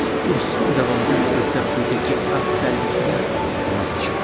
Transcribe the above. Kurs davomida sizda quyidagi afzalliklar mavjud:.